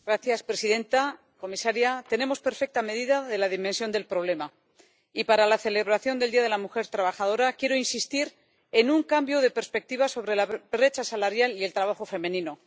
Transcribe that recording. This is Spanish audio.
Señora presidenta, comisaria, tenemos perfecta medida de la dimensión del problema, y para la celebración del Día de la Mujer Trabajadora quiero insistir en un cambio de perspectiva sobre la brecha salarial y el trabajo femenino.